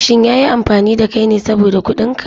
Shin ya yi amfani da kai ne saboda kuɗin ka?